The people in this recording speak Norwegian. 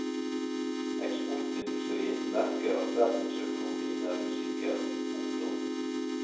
Eksportindustrien merker at verdensøkonomien er usikker. punktum